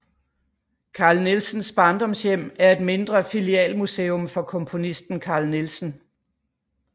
Carl Nielsens Barndomshjem er et mindre filialmuseum for komponisten Carl Nielsen